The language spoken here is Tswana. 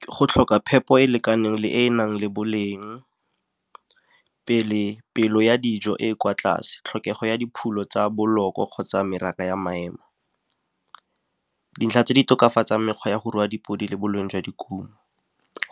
Ke go tlhoka phepo e e lekaneng le e e nang le boleng, pelo ya dijo e e kwa tlase, tlhokego ya dipholo tsa boloko kgotsa ya maema. Dintlha tse di tokafatsang mekgwa ya go rua dipodi le boleng jwa dikumo,